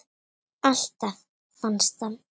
Alltaf fannst hann.